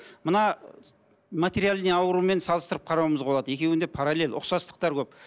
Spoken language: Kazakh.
мына материальный аурумен салыстырып қарауымызға болады екеуінде параллель ұқсастықтар көп